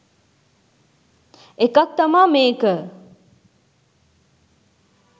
එකක් තමා මේක.